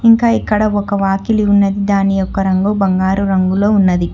ఇంకా ఇక్కడ ఒక వాకిలి ఉన్న దాని యొక్క రంగు బంగారు రంగులో ఉన్నది.